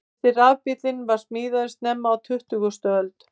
Fyrsti rafbíllinn var smíðaður snemma á tuttugustu öld.